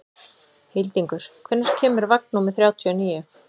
Hildingur, hvenær kemur vagn númer þrjátíu og níu?